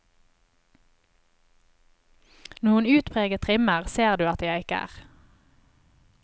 Noen utpreget trimmer ser du at jeg ikke er.